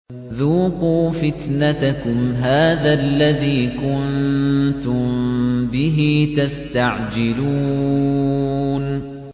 ذُوقُوا فِتْنَتَكُمْ هَٰذَا الَّذِي كُنتُم بِهِ تَسْتَعْجِلُونَ